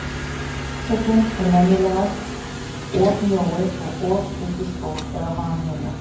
Orsökin er venjulegast of mjóir og of stuttir skór eða vanhirða.